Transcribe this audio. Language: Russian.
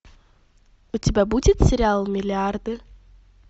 у тебя будет сериал миллиарды